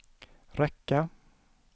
räcka